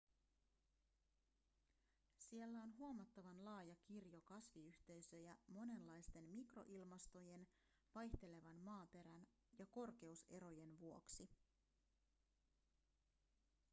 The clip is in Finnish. siellä on huomattavan laaja kirjo kasviyhteisöjä monenlaisten mikroilmastojen vaihtelevan maaperän ja korkeuserojen vuoksi